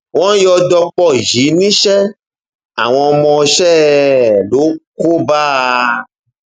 wọn yọ dọpọ yìí níṣẹ àwọn ọmọọṣẹ ẹ ló kó bá a